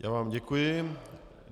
Já vám děkuji.